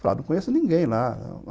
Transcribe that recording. Falaram, não conheço ninguém lá.